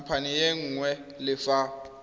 khamphane e nngwe le fa